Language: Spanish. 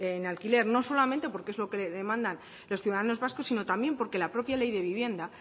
en alquiler no solamente porque es lo que demandan los ciudadanos vascos sino también porque la propia ley de vivienda